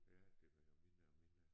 Ja det bliver jo mindre og mindre